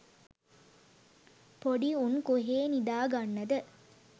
පොඩි උන් කොහේ නිදාගන්නද